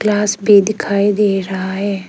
गिलास भी दिखाई दे रहा है।